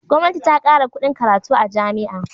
Gwamnati ta kara kuɗin karatu a jami'a.